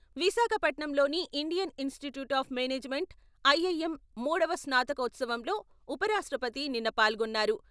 విశాఖపట్నంలోని Indian institute of management, IIM మూడవ స్నాతకోత్సవంలో ఉపరాష్ట్రపతి నిన్న పాల్గొన్నారు.